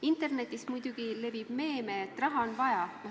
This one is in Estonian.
Internetis muidugi levib meem "Raha on vaja".